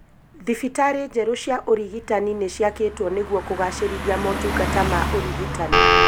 Thibitari njerũ ũrigitani nĩciakĩtwo nĩguo kũgacĩrithia motungata ma ũrigitani